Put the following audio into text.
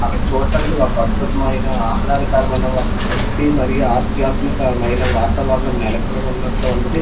అక్కడ చూడ్డానికి ఒక అద్భుతమైన ఆహ్లాదకరమైన ఒక భక్తి మరియు ఆధ్యాత్మిక మైన వాతావరణం నెలకొని ఉన్నట్లు ఉన్నది.